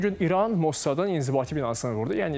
Ötən gün İran Mossadın inzibati binasını vurdu.